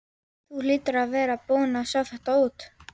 Þú hlýtur að hafa verið búinn að sjá það út.